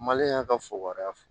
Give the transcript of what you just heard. Maliyɛn y'a ka fukoriya